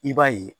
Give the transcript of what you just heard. I b'a ye